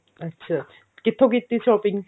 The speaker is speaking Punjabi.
ਅੱਛਾ ਕਿੱਥੋਂ ਕੀਤੀ shopping